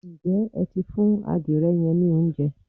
Ǹjẹ́ ẹ ti fún adire yẹn ní oúnjẹ?